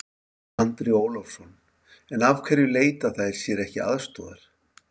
Andri Ólafsson: En af hverju leita þær sér ekki aðstoðar?